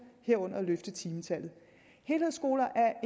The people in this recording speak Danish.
herunder løfte timetallet helhedsskoler er